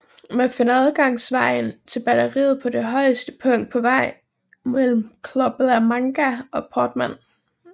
Man finder adgangsvejen til batteriet på det højeste punkt på vejen mellem Club la Manga og Portmán